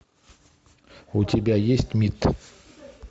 у тебя есть мид